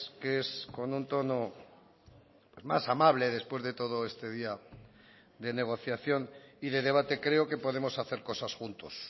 que es con un tono más amable después de todo este día de negociación y de debate creo que podemos hacer cosas juntos